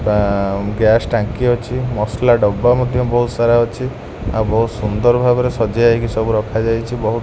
ବା ଗ୍ୟାସ ଟାଙ୍କି ଅଛି। ମସଲା ଡବା ମଧ୍ୟ ବୋହୁତ ସାରା ଅଛି। ଆଉ ବୋହୁତ ସୁନ୍ଦର ଭାବରେ ସଜିଆ ହେଇକି ସବୁ ରଖାଯାଇଚି। ବହୁ --